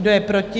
Kdo je proti?